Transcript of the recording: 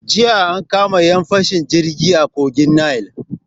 Jiya an kama 'yan fashin jirgi a kogin Nil.